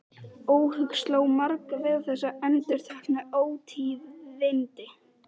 Óhug sló á marga við þessi endurteknu ótíðindi.